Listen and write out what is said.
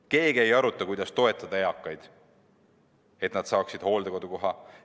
Keegi ei aruta, kuidas toetada eakaid, et nad saaksid hooldekodukoha.